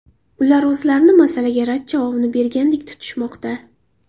Ular o‘zlarini masalaga rad javobini bergandek tutishmoqda.